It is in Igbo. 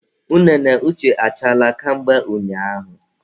Unene Uche achaala ka mgbe ụnyaahụ